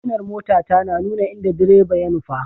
Siginar motata na nuna inda direba ya nufa.